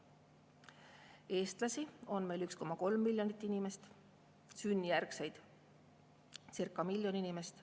Eestlasi on 1,3 miljonit, sünnijärgseid circa miljon inimest.